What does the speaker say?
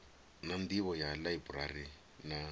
na nḓivho ya ḽaiburari na